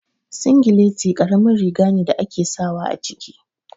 Singileti karamin riga ne da ake sawa a ciki